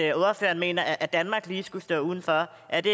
at ordføreren mener at lige danmark skulle stå udenfor er det